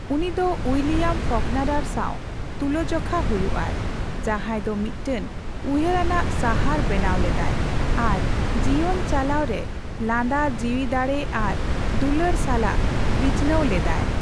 ᱩᱱᱤ ᱫᱚ ᱩᱭᱞᱤᱭᱟᱢ ᱯᱷᱚᱠᱱᱟᱨᱟᱨ ᱥᱟᱣ ᱛᱩᱞᱟᱹᱡᱚᱠᱷᱟ ᱦᱚᱭᱩᱜ ᱟᱭ, ᱡᱟᱦᱟᱭ ᱫᱚ ᱢᱤᱫᱴᱟᱝ ᱩᱭᱦᱟᱨᱟᱱᱟᱜ ᱥᱟᱦᱟᱨ ᱵᱮᱱᱟᱣ ᱞᱮᱫᱟᱭ ᱾ ᱟᱨ ᱡᱤᱭᱚᱱ ᱪᱟᱞᱟᱣ ᱨᱮ ᱞᱟᱸᱫᱟ ᱡᱤᱣᱤᱫᱟᱲᱮ ᱟᱨ ᱫᱩᱞᱟᱹᱲ ᱥᱟᱞᱟᱜ ᱵᱤᱪᱱᱟᱣ ᱞᱮᱫᱟᱭ ᱾